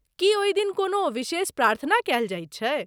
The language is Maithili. की ओहि दिन कोनो विशेष प्रार्थना कएल जाइत छै?